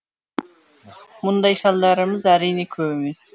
мұндай шалдарымыз әрине көп емес